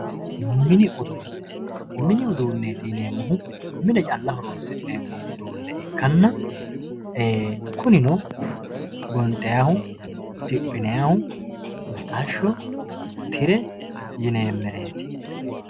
mini uduunne mini uduunneeti yineemmohu mine calla horonsi'neemmoha ikkanna kunino gonxannihu, dophinannihu mixashsho, tire yineemmereeti.